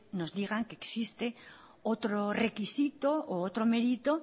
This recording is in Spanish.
nos digan que existe otro requisito u otro mérito